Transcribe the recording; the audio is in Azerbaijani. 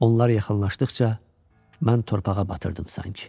Onlar yaxınlaşdıqca, mən torpağa batırdım sanki.